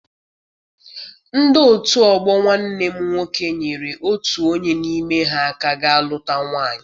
Ndị otu ọgbọ nwanne m nwoke nyere otu onye n'ime ha aka ga luta nwaanyị.